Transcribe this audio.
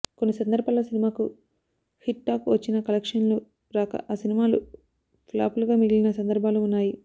కొన్ని సందర్భాల్లో సినిమాకు హిట్ టాక్ వచ్చినా కలెక్షన్లు రాక ఆ సినిమాలు ఫ్లాపులుగా మిగిలిన సందర్భాలు ఉన్నాయి